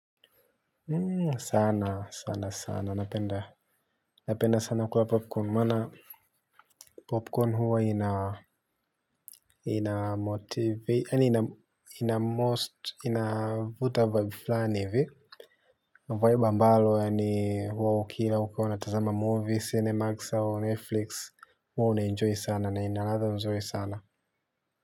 Sana sana sana napenda napenda sana kula popcorn maana popcorn huwa ina motivate inavuta vibe fulani hivi vibe ambalo yaani ukila ukiwa unatazama movie cinemas au netflix huwa unaenjoy sana na ina ladhaa nzuri sana.